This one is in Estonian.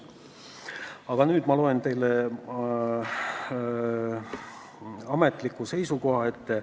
Aga nüüd ma loen teile ametliku seisukoha ette.